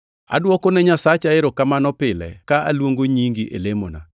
Adwokone Nyasacha erokamano pile ka aluongo nyingi e lemona,